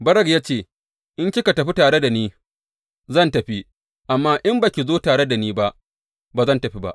Barak ya ce, In kika tafi tare da ni, zan tafi; amma in ba ki zo tare da ni ba, ba zan tafi ba.